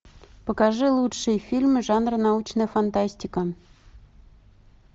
покажи лучшие фильмы жанра научная фантастика